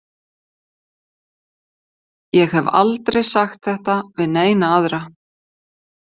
Ég hef aldrei sagt þetta við neina aðra.